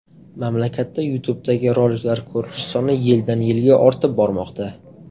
Mamlakatda YouTube’dagi roliklar ko‘rilishi soni yildan-yilga ortib bormoqda.